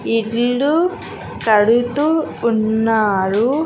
ఇల్లు కడుతూ ఉన్నారు.